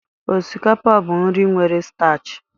Osikapa bụ nri nwere staachị.